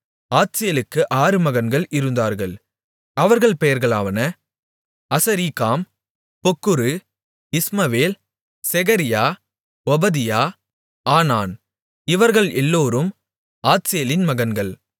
ஆத்சேலுக்கு ஆறு மகன்கள் இருந்தார்கள் அவர்கள் பெயர்களாவன அசரீக்காம் பொக்குரு இஸ்மவேல் செகரியா ஒபதியா ஆனான் இவர்கள் எல்லோரும் ஆத்சேலின் மகன்கள்